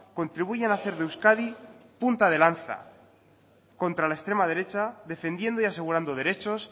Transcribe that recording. contribuyan a hacer de euskadi punta de lanza contra la extrema derecha defendiendo y asegurando derechos